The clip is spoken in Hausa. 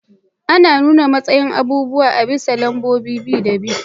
Ana nuna matsayin abubuwa a bisa lambobin bi da bi.